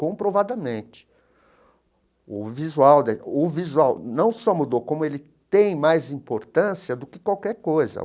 Comprovadamente, o visual da o visual não só mudou, como ele tem mais importância do que qualquer coisa.